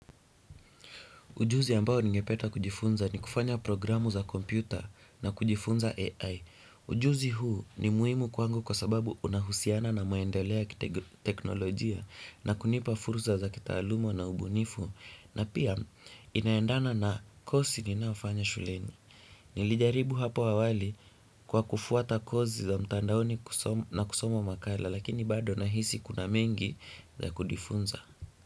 Ujuzi ambao ningependa kujifunza ni kufanya programu za kompyuta na kujifunza AI. Ujuzi huu ni muhimu kwangu kwa sababu unahusiana na maendeleo ya kiteknolojia na kunipa fursa za kitaaluma na ubunifu. Na pia inaendana na kosi ninaofanya shuleni. Nilijaribu hapo awali kwa kufuata kosi za mtandaoni na kusoma makala lakini bado na hisi kuna mengi za kujifunza.